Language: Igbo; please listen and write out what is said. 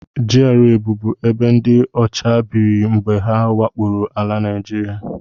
GRA bubu ebe ndị ọcha biri mgbe ha wakporo ala Naịjiria